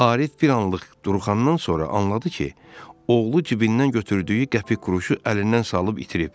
Arif bir anlıq duruxandan sonra anladı ki, oğlu cibindən götürdüyü qəpik-quruşu əlindən salıb itirib.